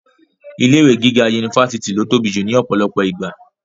ilé ìwé gíga unifásitì ni ó tóbi jù ní ọ̀pọ̀lọpọ̀ ìgbà